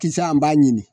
Kisa an b'a ɲini